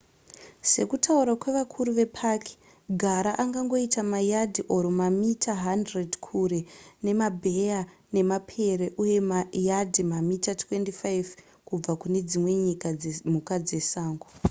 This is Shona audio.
sekutaura kwevakuru vepaki gara angangoita mayadhi/mamita 100 kure nemabheya nemapere uye mayadhi/mamita 25 kubva kunedzimwe mhuka dzesango!